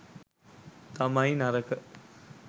තමයි නරක.